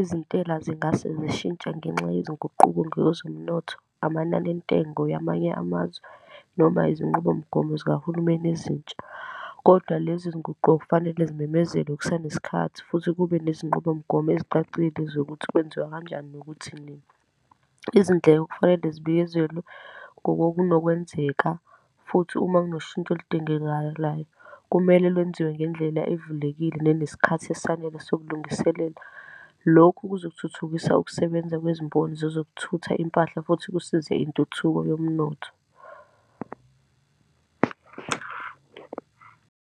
Izintela zingasezishintshe ngenxa yezinguquko ngezomnotho, amanani entengo yamanye amazwe, noma izinqubomgomo zikahulumeni ezintsha. Kodwa lezinguqo kufanele zimemezelwe kusanesikhathi, futhi kube nezinqubomgomo ezicacile zokuthi kwenziwa kanjani, nokuthi nini. Izindleko kufanele zibiyezelwe kokokunokwenzeka, futhi uma kunoshintsho olidingekalayo, kumele lwenziwe ngendlela evulekile nenesikhathi esanele sokulungiselela. Lokhu kuzothuthukisa ukusebenza kwezimboni zokuthutha impahla, futhi kusize intuthuko yomnotho.